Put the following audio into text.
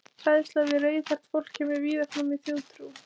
Hræðsla við rauðhært fólk kemur víða fram í þjóðtrú.